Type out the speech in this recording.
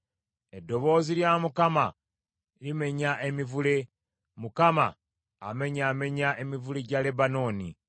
Eddoboozi lya Mukama limenya emivule; Mukama amenyaamenya emivule gya Lebanooni.